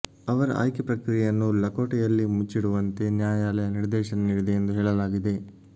ಅವರ ಆಯ್ಕೆ ಪ್ರಕ್ರಿಯೆಯನ್ನು ಲಕೋಟೆಯಲ್ಲಿ ಮುಚ್ಚಿಡುವಂತೆ ನ್ಯಾಯಾಲಯ ನಿರ್ದೇಶನ ನೀಡಿದೆ ಎಂದು ಹೇಳಲಾಗಿದೆ